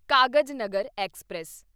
Kagaznagar express